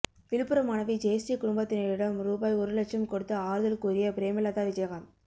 விழுப்புரம் மாணவி ஜெயஸ்ரீ குடும்பத்தினரிடம் ரூபாய் ஒரு லட்சம் கொடுத்து ஆறுதல் கூறிய பிரேமலதா விஜயகாந்த்